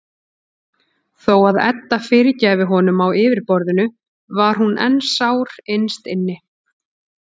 Þó að Edda fyrirgæfi honum á yfirborðinu var hún enn sár innst inni.